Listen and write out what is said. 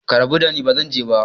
Ku rabu dani, ba zan je ba!